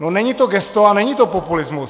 No není to gesto a není to populismus.